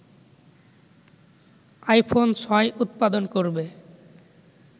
iPhone ৬ উৎপাদন করবে